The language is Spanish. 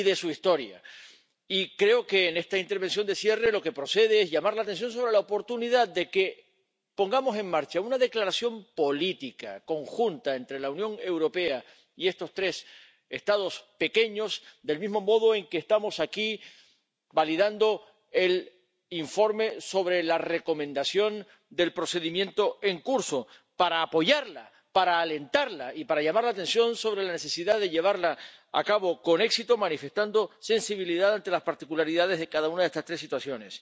Y creo que en esta intervención de cierre lo que procede es llamar la atención sobre la oportunidad de que pongamos en marcha una declaración política conjunta entre la Unión Europea y estos tres Estados pequeños del mismo modo en que estamos aquí validando el informe sobre la recomendación del procedimiento en curso para apoyarla, para alentarla y para llamar la atención sobre la necesidad de llevarla a cabo con éxito manifestando sensibilidad ante las particularidades de cada una de estas tres situaciones.